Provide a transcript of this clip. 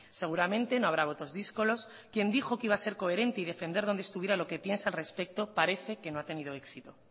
seguramente no habrá votos díscolos quien dijo que iba a ser coherente y defender donde estuviera lo que piensa al respecto parece que no ha tenido éxito